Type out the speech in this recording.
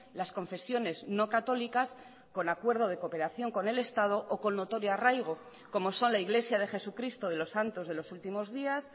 las confesiones no católicas con acuerdo de cooperación con el estado o con notorio arraigo como son la iglesia de jesucristo de los santos de los últimos días